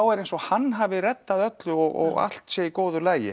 er eins og hann hafi reddað öllu og allt sé í góðu lagi